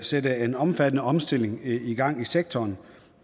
sætte en omfattende omstilling i gang i sektoren